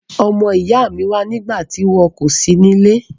Ọmọ ìyá mi wa nígbàtí wo kò si nílé